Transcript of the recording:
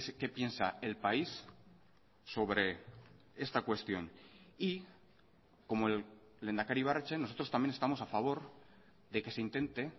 qué piensa el país sobre esta cuestión y como el lehendakari ibarretxe nosotros también estamos a favor de que se intente